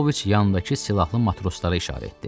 Paoviç yanındakı silahlı matroslara işarət etdi.